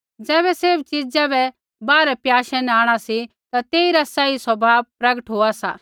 ज़ैबै सैभ च़ीज़ा बै बाहरै प्याशै न आंणा सी ता तेइरा सही स्वभाव प्रगट होआ सा